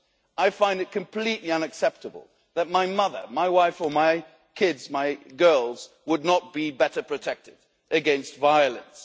I find it completely unacceptable that my mother, my wife or my kids my girls would not be better protected against violence.